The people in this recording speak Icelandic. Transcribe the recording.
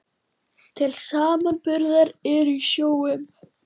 Til samanburðar eru í sjó um